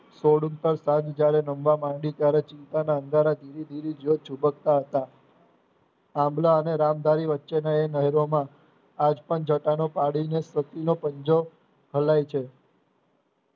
Code ઉપર સાદ જયારે નમવા પડી ત્યારે ચિંતાના અંધારા ધીરે ધીરે ઝુંબક્તા હતા આંબળા અને રામભારી વચ્ચે ના એ નહેરોમાં આજ પણ જતાનો પાડીને ખેતીનો પંજો હલાય છે.